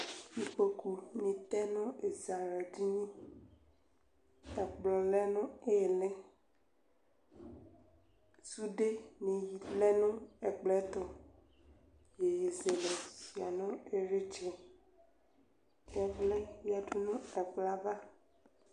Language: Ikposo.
Ikpokʋ ni tɛnʋ ɛza dini ɛkplɔ lɛnʋ ili sude ni lɛnʋ ɛkplɔ yɛ tʋ iyeye zɛlɛ suia nʋ ikitsɛ kʋ ivli yadʋ nʋ ɛkpkɔ yɛ ava